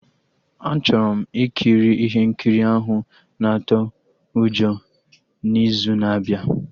Achọrọ m ikiri ihe nkiri ahụ na-atụ ụjọ n'izu na-abịa